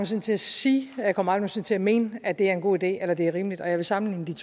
sinde til at sige og jeg kommer aldrig til at mene at det er en god idé eller at det er rimeligt og jeg vil sammenligne